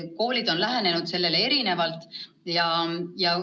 Koolid on sellele erinevalt lähenenud.